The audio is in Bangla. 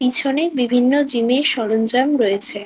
পিছনে বিভিন্ন জিমের সরঞ্জাম রয়েছে।